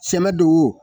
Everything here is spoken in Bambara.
Sɛmɛ do wo